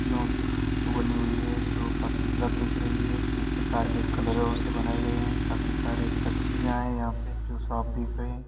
पंछीयों की फोटो बनी हुई है जो काफी दिख रही है। कही प्रकार के कलरो से बनायीं गई है। काफी सारे पंछी या है यहाँ पे जो साफ देख रहे है।